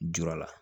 Jur'a la